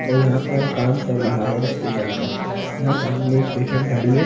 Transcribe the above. और यहाँ पर काम चल रहा है स्टेशन का यहाँ सामने एक पैशन खड़ी है।